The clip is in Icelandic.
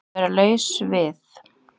Að vera laus við